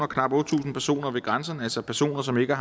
knap otte tusind personer ved grænserne altså personer som ikke